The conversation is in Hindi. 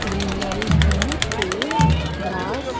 ग्रीनरीज में पेड़ ग्रास .